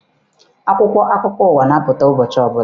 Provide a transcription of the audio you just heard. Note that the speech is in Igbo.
Akwụkwọ akụkọ ụwa na-apụta ụbọchị ọbụla.